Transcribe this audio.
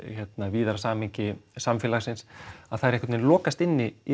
víðara samhengi samfélagsins þær einhvern veginn lokast inni í